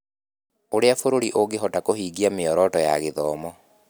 Ũrĩa bũrũri ũngĩhota kũhingia mĩoroto ya gĩthomo.